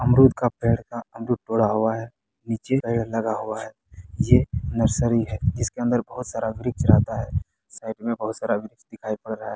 अमरूद का पेड़ का अमरुद तोड़ा हुआ है नीचे पेड़ लगा हुआ है ये नर्सरी है जिसके अंदर बहोत सारा वृक्ष रहता है साइड में बहोत सारा वृक्ष दिखाई पड़ रहा है।